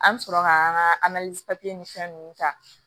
An bɛ sɔrɔ ka an ka ni fɛn ninnu ta